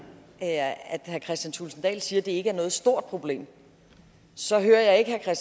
kristian thulesen dahl siger at det ikke er noget stort problem så hører jeg ikke herre